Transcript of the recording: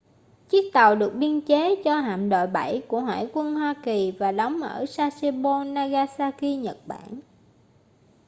chiếc tàu được biên chế cho hạm đội 7 của hải quân hoa kỳ và đóng ở sasebo nagasaki nhật bản